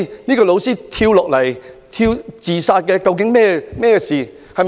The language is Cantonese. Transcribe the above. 這位老師跳樓自殺，究竟有何原因？